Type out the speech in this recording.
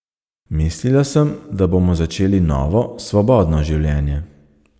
Mislila sem, da bomo začeli novo, svobodno življenje.